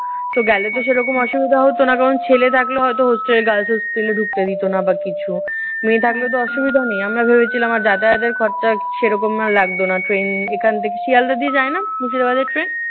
তো গেলে তো সেই রকম অসুবিধা হতো না। কারণ ছেলে থাকলে হয়তো hostel guard ছেলে ঢুকতে দিতো না বা কিছু। মেয়ে থাকলেতো অসুবিধা নেই। আমরা ভেবেছিলাম যাতায়াতের খরচা সেই রকম না হয় লাগতো না। ট্রেন এখান থেকে শিয়ালদাহ দিয়ে যায় না মুর্শিদাবাদের ট্রেন?